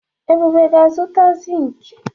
Ebube ga-azụta zink.